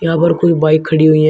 यहाँ पर कोई बाइक ख़डी हुई है।